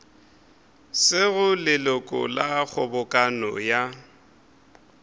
sego leloko la kgobokano ya